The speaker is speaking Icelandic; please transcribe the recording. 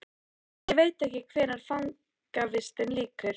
Ég veit ekki hvenær fangavistinni lýkur.